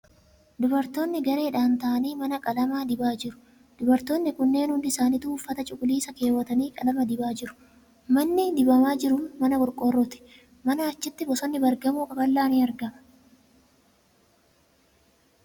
Dubartoonni gareedhaan ta'anii mana qalama dibaa jiru. Dubartoonni kunneen hundi isaanituu uffata cuquliisa keewwatanii qalama dibaa jiru. Manni qalamni dibamaa jiru mana qorqoorrooti .Manaan achitti bosonni baargamoo qaqallaa ni argama.